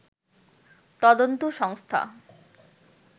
তদন্ত সংস্থা